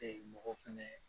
mɔgɔ fɛnɛ